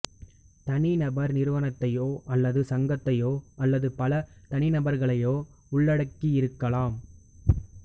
தனிநபர் நிறுவனத்தையோ அல்லது சங்கத்தையோ அல்லது பல தனிநபர்களையோ உள்ளடக்கியிருக்கலாம்